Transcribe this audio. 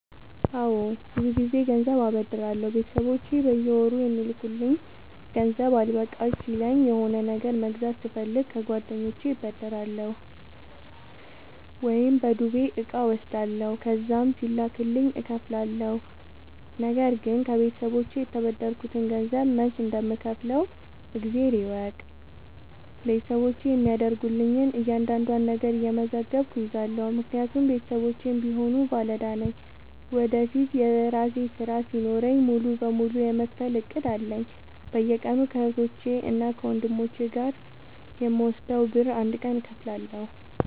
አዎድ ብዙ ግዜ ገንዘብ አበደራለሁ ቤተሰቦቼ በየወሩ የሚልኩልኝ ገንዘብ አልበቃሽ ሲለኝ እና የሆነ ነገር መግዛት ስፈልግ ከጓደኞቼ እበደራለሁ። ወይም በዱቤ እቃ እወስዳለሁ ከዛም ሲላክልኝ እከፍላለሁ። ነገርግን ከቤተሰቦቼ የተበደርከትን ገንዘብ መች እንደም ከውፍለው እግዜር ይወቅ ቤተሰቦቼ የሚያደርጉልኝን እያንዳዷን ነገር እየመዘገብኩ እይዛለሁ። ምክንያቱም ቤተሰቦቼም ቢሆኑ ባለዳ ነኝ ወደፊት የራሴ ስራ ሲኖረኝ ሙሉ በሙሉ የመክፈል እቅድ አለኝ። በየቀኑ ከህቶቼ እና ከወንድሞቼ የምወስደውን ብር አንድ ቀን እከፍላለሁ።